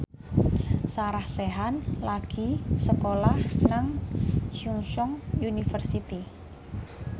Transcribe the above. Sarah Sechan lagi sekolah nang Chungceong University